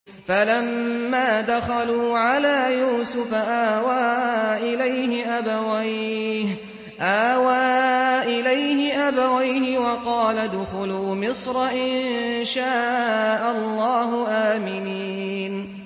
فَلَمَّا دَخَلُوا عَلَىٰ يُوسُفَ آوَىٰ إِلَيْهِ أَبَوَيْهِ وَقَالَ ادْخُلُوا مِصْرَ إِن شَاءَ اللَّهُ آمِنِينَ